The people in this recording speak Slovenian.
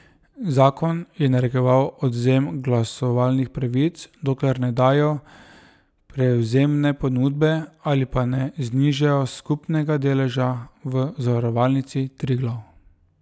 Zakon je narekoval odvzem glasovalnih pravic, dokler ne dajo prevzemne ponudbe ali pa ne znižajo skupnega deleža v Zavarovalnici Triglav.